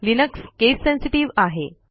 Linux case sensitive आहे